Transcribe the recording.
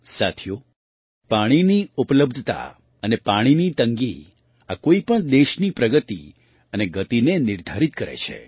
સાથીઓ પાણીની ઉપલબ્ધતા અને પાણીની તંગી આ કોઈ પણ દેશની પ્રગતિ અને ગતિને નિર્ધારિત કરે છે